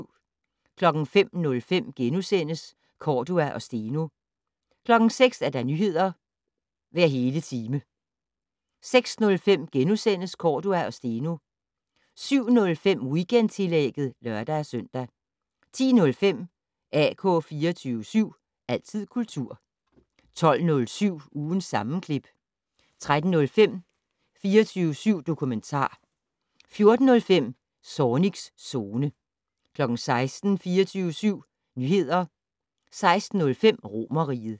05:05: Cordua og Steno * 06:00: Nyheder hver hele time 06:05: Cordua og Steno * 07:05: Weekendtillægget (lør-søn) 10:05: AK 24syv. Altid kultur 12:07: Ugens sammenklip 13:05: 24syv dokumentar 14:05: Zornigs Zone 16:00: 24syv Nyheder 16:05: Romerriget